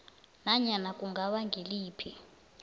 nanyana kungaba ngiliphi